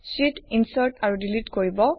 sheet insert আৰু delete কৰিব